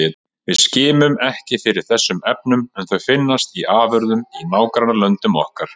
Við skimum ekki fyrir þessum efnum en þau finnast í afurðum í nágrannalöndum okkar.